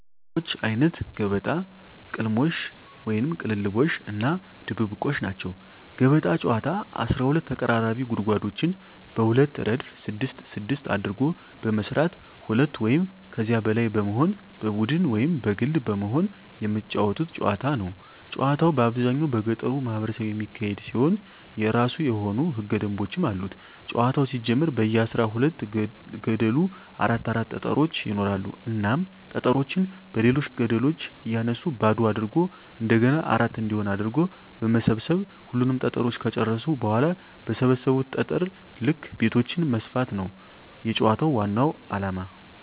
የጨዋታወች አይነት ገበጣ፣ ቅልሞሽ(ቅልልቦሽ) እና ድብብቆሽ ናቸዉ። ገበጣ ጨዋታ 12 ተቀራራቢ ጉድጓዶችን በሁለት እረድፍ ስድስት ስድስት አድርጎ በመስራት ሁለት ወይም ከዚያ በላይ በመሆን በቡድን ወይም በግል በመሆን የመጫወቱት ጨዋታ ነዉ። ጨዋታዉ በአብዛኛዉ በገጠሩ ማህበረሰብ የሚካሄድ ሲሆን የእራሱ የሆኑ ህገ ደንቦችም አሉት ጨዋታዉ ሲጀመር በየ አስራ ሁለት ገደሉ አራት አራት ጠጠሮች ይኖራሉ እናም ጠጠሮችን በሌሎች ገደሎች እያነሱ ባዶ አድርጎ እንደገና አራት እንዲሆን አድርጎ በመሰብ ሰብ ሁሉንም ጠጠሮች ከጨረሱ በኋላ በሰበሰቡት ጠጠር ልክ ቤቶችን መስፋት ነዉ የጨዋታዉ ዋናዉ አላማ።